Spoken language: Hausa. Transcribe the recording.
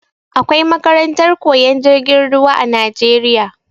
Akwai makarantar koyan jirgin ruwa a najeriya